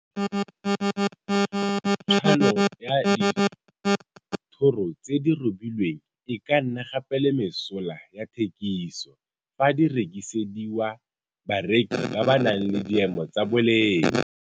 Tshwano ya dithoro tse di robilweng e ka nna gape le mesola ya thekiso fa di rekisediwa bareki ba ba nang le diemo tsa boleng.